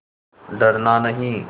डरना नहीं